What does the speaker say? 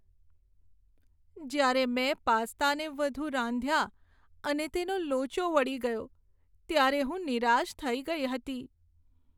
જ્યારે મેં પાસ્તાને વધુ રાંધ્યા અને તેનો લોચો વળી ગયો ત્યારે હું નિરાશ થઇ ગઈ હતી.